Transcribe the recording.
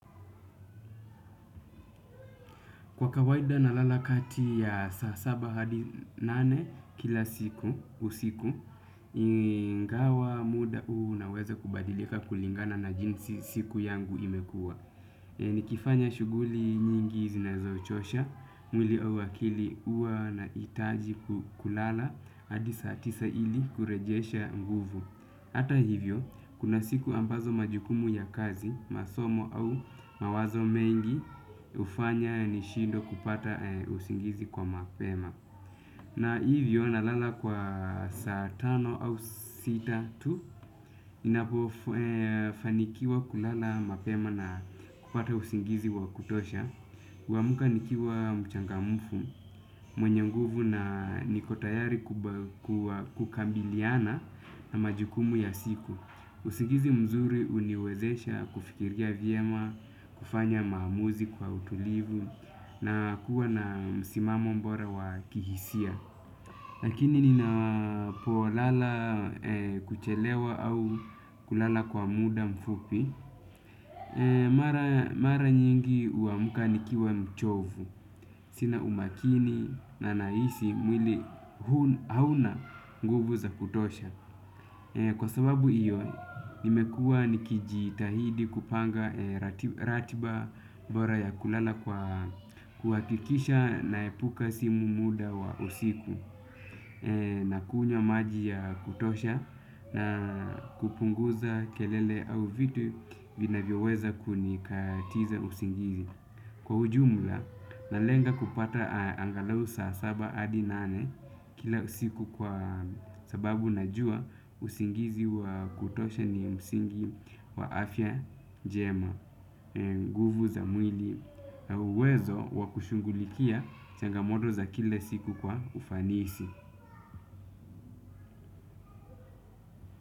Kwa kawaida nalala kati ya saa saba hadi nane kila siku, usiku, ingawa muda unaweza kubadilika kulingana na jinsi siku yangu imekua. Nikifanya shughuli nyingi zinazochosha, mwili au akili uwa naitaji kulala, hadi saa tisa ili kurejesha nguvu. Ata hivyo, kuna siku ambazo majukumu ya kazi, masomo au mawazo mengi ufanya nishindwe kupata usingizi kwa mapema. Na hivyo, nalala kwa saa tano au sita tu, ninapo fanikiwa kulala mapema na kupata usingizi wa kutosha. Uamuka nikiwa mchangamufu, mwenye nguvu na niko tayari kukabiliana na majukumu ya siku. Usigizi mzuri uniwezesha kufikiria viema, kufanya maamuzi kwa utulivu na kuwa na msimamo mbora wa kihisia. Lakini ninapo lala kuchelewa au kulala kwa muda mfupi mara nyingi uamuka nikiwa mchovu. Sina umakini na nahisi mwili hauna nguvu za kutosha. Kwa sababu iyo, nimekua nikijitahidi kupanga ratiba bora ya kulala kwa kuhakikisha naepuka simu muda wa usiku na kunywa maji ya kutosha na kupunguza kelele au vitu vinavyo weza kunikatiza usingizi. Kwa ujumla, nalenga kupata angalau saa saba adi nane. Kila usiku kwa sababu najua usingizi wakutosha ni msingi wa afya njema nguvu za mwili na uwezo wa kushungulikia changamoto za kile siku kwa ufanisi.